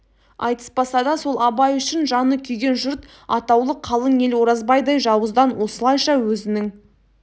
айтыспаса да сол абай үшін жаны күйген жұрт атаулы қалың ел оразбайдай жауыздан осылайша өзінің